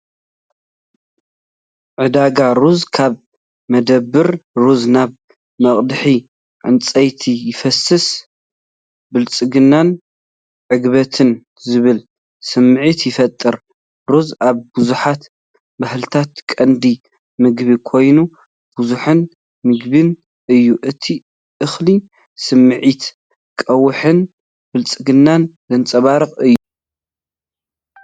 “ጻዕዳ ሩዝ” ካብ መዳበርያ ሩዝ ናብ መቕድሒ ዕንጨይቲ ይፈስስ። *ብልጽግናን ዕግበትን” ዝብል ስምዒት ይፈጥር።** ሩዝ ኣብ ብዙሓት ባህልታት ቀንዲ ምግቢ ኮይኑ፡ ብዝሕን ምግቢን እዩ። እቲ እኽሊ ስምዒት ቀውዒን ብልጽግናን ዘንጸባርቕ እዩ።